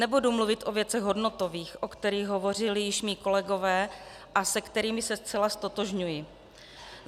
Nebudu mluvit o věcech hodnotových, o kterých hovořili již mí kolegové a se kterými se zcela ztotožňuji.